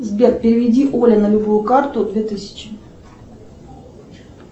сбер переведи оле на любую карту две тысячи